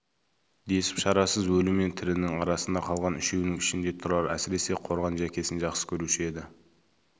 десіп шарасыз өлі мен тірінің арасында қалған үшеуінің ішінде тұрар әсіресе қорған жәкесін жақсы көруші еді